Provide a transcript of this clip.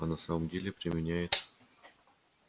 а на самом деле применяет